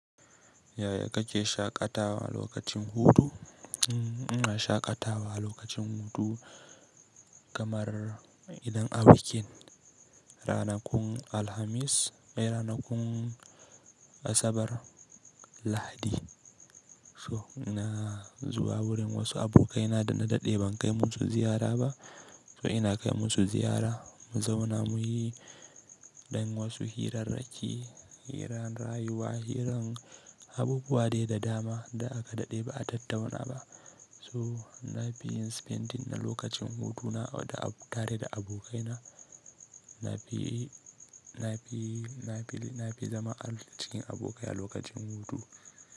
Yaya kake shaƙatawa lokacin hutu? Shaƙatawa lokacin hutu kamar idan a bikin ranakun Alhamis, ai ranakun Asabar, Lahadi. So ina zuwa wurin wasu abokaina da na daɗe ban kai musu ziyara ba. So ina kai musu ziyara, mu zauna muyi dan wasu hirarraki, hirar rayuwa, hirar abubuwa dai da dama da aka daɗe ba a tattauna ba. So na fi yin spending na lokacin hutu na tare da abokaina. Na fi, na fi, na fi, na fi zama a cikin abokai a lokacin hutu.